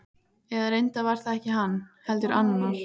Eða reyndar var það ekki hann, heldur annar.